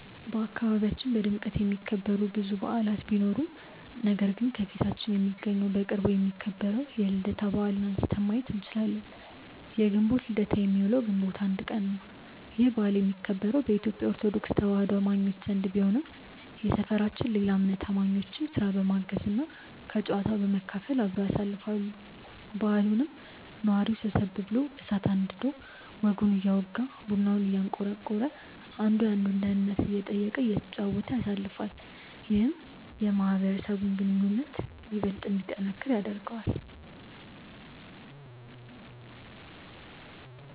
በአካባቢያችን በድምቀት የሚከበሩ ብዙ በዓላት ቢኖሩም ነገር ግን ከፊታችን የሚገኘው በቅርቡ የሚከበረው የልደታ በዓልን አንስተን ማየት እንችላለን። የግንቦት ልደታ የሚውለው ግንቦት 1 ቀን ነው። ይህ በዓል የሚከበረው በኢትዮጲያ ኦርቶዶክስ ተዋህዶ አማኞች ዘንድ ቢሆንም የሰፈራችን ሌላ እምነት አማኞችም ስራ በማገዝ እና ከጨዋታው በመካፈል አብረው ያሳልፋሉ። በዓሉንም ነዋሪው ሰብሰብ ብሎ እሳት አንድዶ ወጉን እያወጋ፤ ቡናውን እያንቆረቆረ፤ አንዱ የአንዱን ደህንነት እየጠየቀ፤ እየተጨዋወተ ያሳልፋል። ይህም የማህበረሰቡን ግንኙነት ይበልጥ እንዲጠነክር ያደርገዋል።